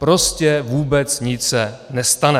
Prostě vůbec nic se nestane.